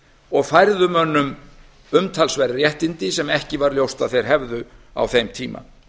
og færðu mönnum umtalsverð réttindi sem ekki var ljóst að þeir hefðu á þeim tíma